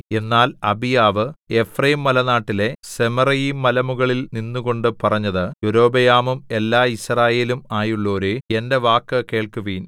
എന്നാൽ അബീയാവ് എഫ്രയീംമലനാട്ടിലെ സെമറയീം മലമുകളിൽ നിന്നുകൊണ്ട് പറഞ്ഞത് യൊരോബെയാമും എല്ലാ യിസ്രായേലും ആയുള്ളോരേ എന്റെ വാക്കു കേൾക്കുവിൻ